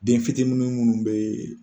Den fitini minnu be